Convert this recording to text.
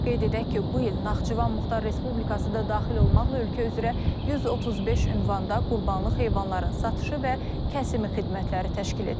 Qeyd edək ki, bu il Naxçıvan Muxtar Respublikası da daxil olmaqla ölkə üzrə 135 ünvanda qurbanlıq heyvanların satışı və kəsimi xidmətləri təşkil edilib.